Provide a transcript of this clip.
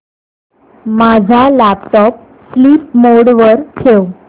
माझा laptop sleep mode वर ठेव